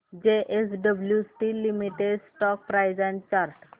JSW steel limited stock price and chart